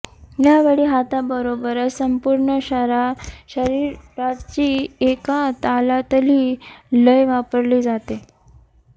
यावेळी हाताबरोबरच संपूर्ण शरीराची एका तालातली लय वापरली जाते